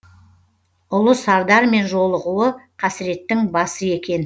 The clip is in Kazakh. ұлы сардармен жолығуы қасіреттің басы екен